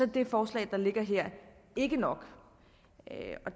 det forslag der ligger her ikke nok